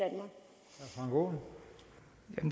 når